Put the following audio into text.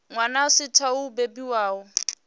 wana a saathu u bebiwaho